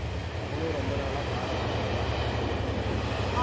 அவளும் ரொம்ப நாளா காடை சாப்பிடணும் காடை சாப்பிடணும்ட்டே சொல்லிட்டு இருக்கால.